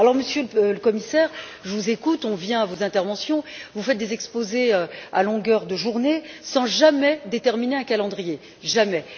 Monsieur le Commissaire, je vous écoute, on vient à vos interventions, vous faites des exposés à longueur de journée sans jamais déterminer un calendrier, jamais.